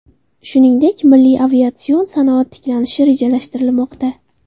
Shuningdek, milliy aviatsion sanoat tiklanishi rejalashtirilmoqda.